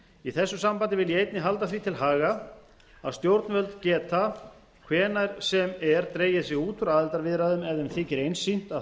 í þessu sambandi vil ég einnig halda því til haga að stjórnvöld geta hvenær sem er dregið sig út úr aðildarviðræðum ef þeim þykir einsýnt að